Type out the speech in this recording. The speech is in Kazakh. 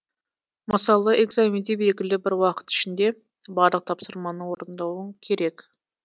мысалы экзаменде белгілі бір уақыт ішінде барлық тапсырманы орындауың керек